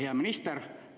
Hea minister!